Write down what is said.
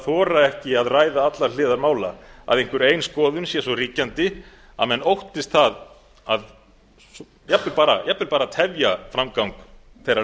að þora ekki að ræða allar hliðar mála að einhver ein skoðun sé svo ríkjandi að menn óttist að jafnvel bara að tefja framgang þeirrar